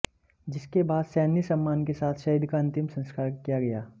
जिसके बाद सैन्य सम्मान के साथ शहीद का अंतिम संस्कार किया गया